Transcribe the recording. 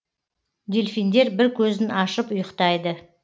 дельфиндер бір көзін ашып ұйықтайды